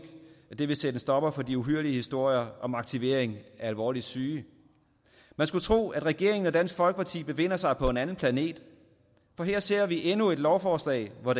vil sætte en stopper for de uhyrlige historier om aktivering af alvorligt syge man skulle tro at regeringen og dansk folkeparti befinder sig på en anden planet for her ser vi endnu et lovforslag hvor